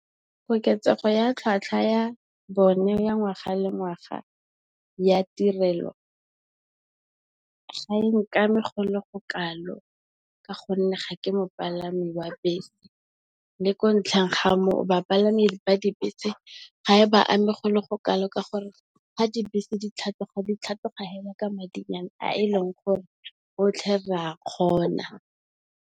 Koketsego ya tlhatlhwa ya bone ya ngwaga le ngwaga ya tirelo ga e nkame go le go kalo. Ka gonne, ga ke mopalami wa bese, le ko ntlheng ga moo bapalami ba dibese ga e ba ame go le go kalo ka gore ga dibese ditlhatlhoga, ditlhatlhoga fela ka madi a e leng gore rotlhe re a kgona.